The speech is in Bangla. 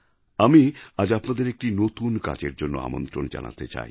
আমি আজ আপনাদের একটি নতুন কাজের জন্য আমন্ত্রণ জানাতে চাই